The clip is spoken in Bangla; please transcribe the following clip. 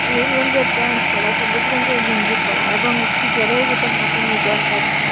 নীল রঙ্গের প্যান্ট পরা সবুজ রঙ্গের গেঞ্জি পরা এবং একটি জলের বোতল হাতে নিয়ে জল কাচ্ছে ।